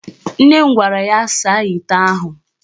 Nne m gwara ya saa ite ahụ.